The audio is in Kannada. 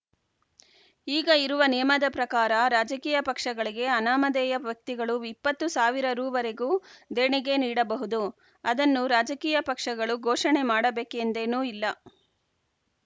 ಈಗ ಇರುವ ನಿಯಮದ ಪ್ರಕಾರ ರಾಜಕೀಯ ಪಕ್ಷಗಳಿಗೆ ಅನಾಮಧೇಯ ವ್ಯಕ್ತಿಗಳು ಇಪ್ಪತ್ತು ಸಾವಿರ ರುವರೆಗೂ ದೇಣಿಗೆ ನೀಡಬಹುದು ಅದನ್ನು ರಾಜಕೀಯ ಪಕ್ಷಗಳು ಘೋಷಣೆ ಮಾಡಬೇಕೆಂದೇನೂ ಇಲ್ಲ